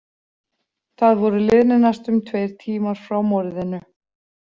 Það voru liðnir næstum tveir tímar frá morðinu.